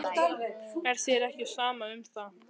Er þér ekki sama um það?